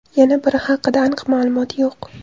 Yana biri haqida aniq ma’lumot yo‘q.